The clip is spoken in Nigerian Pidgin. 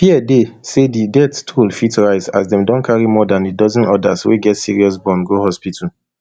fear dey say di death toll fit rise as dem don carry more dan a dozen odas wey get serious burn go hospital